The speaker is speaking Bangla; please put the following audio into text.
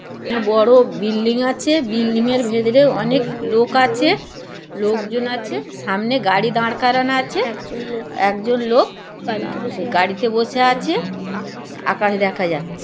বড় বিল্ডিং আছে বিল্ডিংয়ের ভেতরে অনেক লোক আছে লোকজন আছে সামনে গাড়ি দাঁড় করানো আছে একজন লোক গাড়িতে বসে আছে আকাশ দেখা যাচ্ছে।